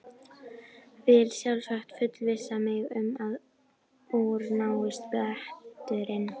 Vill sjálfsagt fullvissa sig um að úr náist bletturinn.